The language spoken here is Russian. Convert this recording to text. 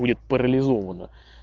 будет парализована